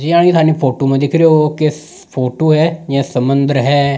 जेयानी थानी फोटो में दिख रहे हो ओ के फोटो है या समंदर है।